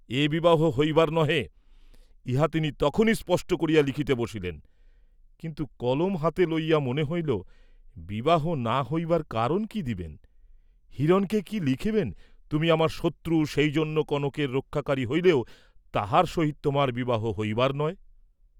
হিরণকে কি লিখিবেন, তুমি আমার শত্রু সেই জন্য কনকের রক্ষাকারী হইলেও তাহার সহিত তোমার বিবাহ হইবার নহে।